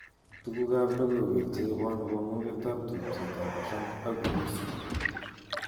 Tukukab logoiwek cheibon komugetab tubjetab Trump ak Urusi